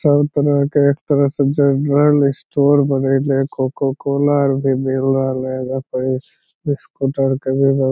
सब तरह के एक तरह से जनरल स्टोर बनेला कोको कोला और भी मिल रहले यहाँ पड़ी स्कूटर के भी --